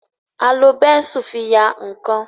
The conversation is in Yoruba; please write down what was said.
a lò Bẹ́ńsù fí yá nkán